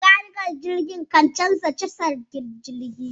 Bakaniken jirgin kan canja tayar jirgi.